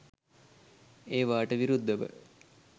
ඒවාට විරුද්ධව